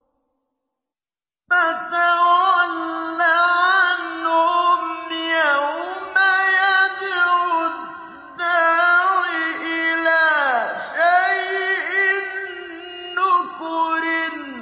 فَتَوَلَّ عَنْهُمْ ۘ يَوْمَ يَدْعُ الدَّاعِ إِلَىٰ شَيْءٍ نُّكُرٍ